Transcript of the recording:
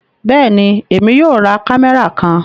Bẹẹni, Èmi yóò rá kámẹ́rà kàn